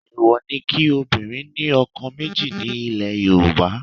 Èèwọ̀ ni kí obìnrin ní ọkọ méjì ní ilẹ̀ Yorùbá